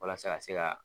Walasa ka se ka